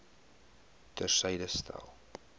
ter syde stel